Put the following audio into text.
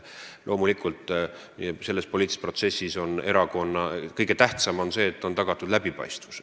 Loomulikult on poliitilises protsessis kõige tähtsam see, et on tagatud läbipaistvus.